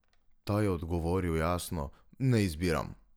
Ta je odgovoril jasno: "Ne izbiram.